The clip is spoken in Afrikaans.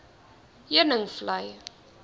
heuningvlei